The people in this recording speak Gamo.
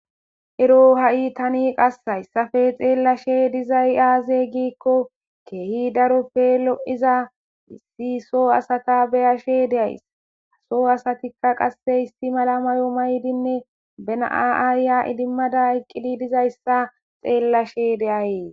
Ero tani qasi haysappe dhelashe dizay aze giko kehi darope lo'iza issi so asata be'ashe days ha so asatika qase issi mala mayo mayidinne be na'a ayiya idimada eqida dizaysa xelashe de'ays.